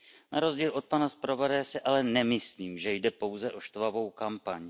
Na rozdíl od pana zpravodaje si ale nemyslím, že jde pouze o štvavou kampaň.